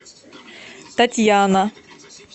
татьяна